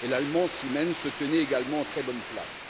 L'Allemand Siemens se tenait également en très bonne place.